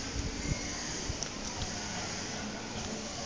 ka re ho ya ka